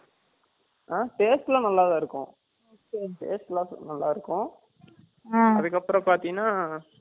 Taste எல்லாம் நல்லா தான் இருக்கும், Taste எல்லாம் நல்லா தான் இருக்கும், அதுகப்பரம் ப்பார்தினா